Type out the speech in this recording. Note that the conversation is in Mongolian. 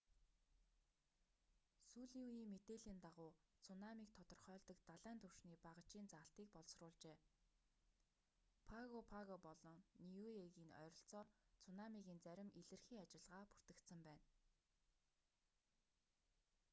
сүүлийн үеийн мэдээллийн дагуу цунамиг тодорхойлдог далайн түвшний багажийн заалтыг боловсруулжээ паго паго болон ниуегийн ойролцоо цунамигийн зарим илэрхий ажиллагаа бүртгэгдсэн байна